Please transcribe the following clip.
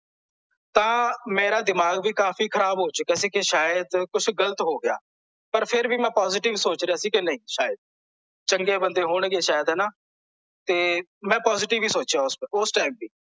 ਤਾਂ ਮੇਰਾ ਦਿਮਾਗ ਵੀ ਕਾਫੀ ਖਰਾਬ ਹੋ ਗਿਆ ਚੁੱਕਿਆ ਸੀ ਕੇ ਸ਼ਾਇਦ ਕੁਝ ਗਲਤ ਹੋ ਗਿਆ ਪਰ ਫੇਰ ਵੀ ਮੈਂ positive ਹੀ ਸੋਚ ਰਿਹਾ ਸੀ ਕੇ ਨਹੀਂ ਸ਼ਾਇਦ ਚੰਗੇ ਬੰਦੇ ਹੋਣਗੇ ਸ਼ਾਇਦ ਹਣਾ ਤੇ ਮੈਂ positive ਹੀ ਸੋਚਿਆ ਓਸ ਓਸ ਟਾਈਮ ਵੀ